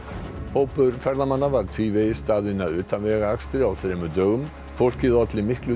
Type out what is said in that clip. hópur ferðamanna var tvívegis staðinn að utanvegaakstri á þremur dögum fólkið olli miklu